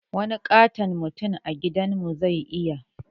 Wani ƙaton mutum a gidan mu zai iya